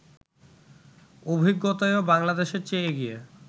অভিজ্ঞতায়ও বাংলাদেশের চেয়ে এগিয়ে